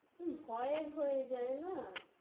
হুঁ, ভয়ের হয়ে যায় না?